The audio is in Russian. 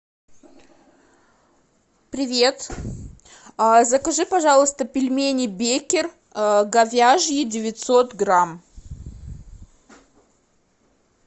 привет закажи пожалуйста пельмени беккер говяжьи девятьсот грамм